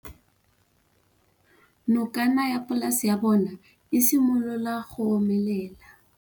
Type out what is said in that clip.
Nokana ya polase ya bona, e simolola go omelela.